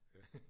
Ja